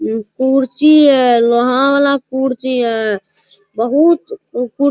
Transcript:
उह कुर्सी हई लोहा वला कुर्सी हई बहुत ऊ --